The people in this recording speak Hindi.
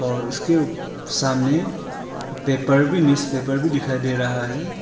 और उसके सामने पेपर भी न्यूजपेपर भी दिखाई दे रहा है।